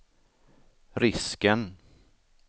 risken